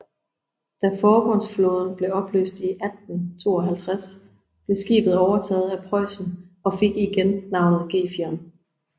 Da forbundsflåden blev opløst i 1852 blev skibet overtaget af Preussen og fik igen navnet Gefion